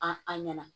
A an ɲɛna